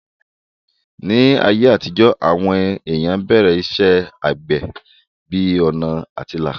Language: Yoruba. Ní ayé àtijó, àwọn èèyàn bẹ̀rẹ̀ iṣẹ́ àgbẹ̀ bí ọ̀nà àtilà